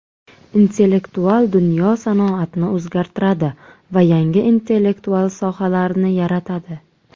Intellektual dunyo sanoatni o‘zgartiradi va yangi intellektual sohalarni yaratadi.